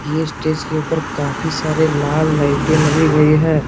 ये स्टेज के ऊपर काफी सारे लाल लाइटें लगे गई है ।